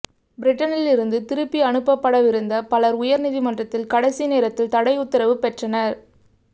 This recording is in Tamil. பிரிட்டனிலிருந்து திருப்பி அனுப்பப்படவிருந்த பலர் உயர்நீதிமன்றில் கடைசி நேரத்தில் தடையுத்தரவு பெற்றனர்